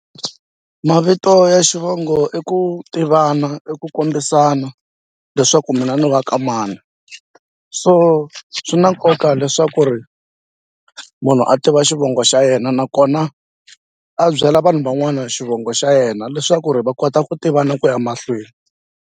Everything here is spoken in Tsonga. Mavito ya xivongo i ku tivana i ku kombisana leswaku mina ni wa ka mani so swi na nkoka leswaku ri munhu a tiva xivongo xa yena nakona a byela vanhu van'wana xivongo xa yena leswaku ri va kota ku tivana ku ya mahlweni.